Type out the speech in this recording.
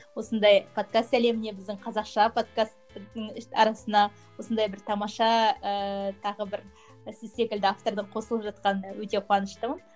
осындай подкаст әлеміне біздің қазақша подкасттардың арасына осындай бір тамаша ыыы тағы бір сіз секілді автордың қосылып жатқанына өте қуаныштымын